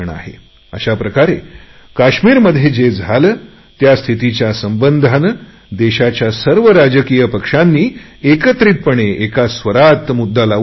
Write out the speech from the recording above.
अशा प्रकारे काश्मीरमध्ये जे काही झाले त्या स्थितीच्या संबंधाने देशाच्या सर्व राजकीय पक्षांनी एकत्रितपणे एका स्वरात मुद्दा लावून धरला